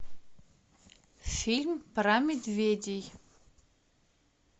фильм про медведей